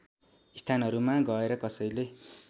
स्थानहरूमा गएर कसैले